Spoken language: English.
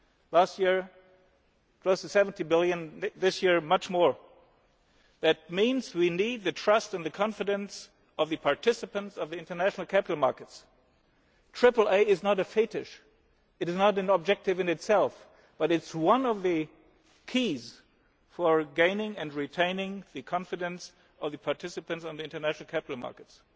capital markets. Last year it was EUR 70 billion, this year much more. That means we need the trust and confidence of the participants in the international capital markets. Triple A is not a fetish, it is not an objective in itself but it is one of the keys for gaining and retaining the confidence of the participants in the international